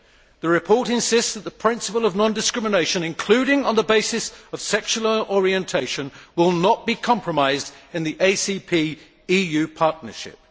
The report insists that the principle of non discrimination, including on the basis of sexual orientation, will not be compromised in the ACP EU partnership.